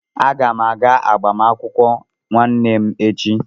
Aga m aga agbamakwụkwọ nwanne m echi.